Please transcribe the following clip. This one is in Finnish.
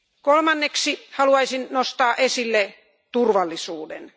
Kolmanneksi haluaisin nostaa esille turvallisuuden.